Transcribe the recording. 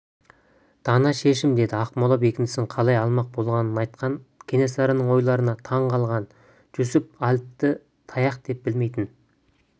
дана шешім деді ақмола бекінісін қалай алмақ болғанын айтқан кенесарының ойларына таң қалған жүсіп әліпті таяқ деп білмейтін